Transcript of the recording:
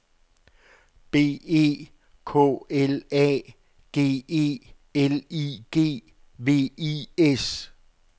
B E K L A G E L I G V I S